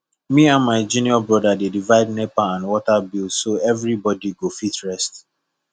me and my junior bro dey divide nepa and water bill so everybody go fit rest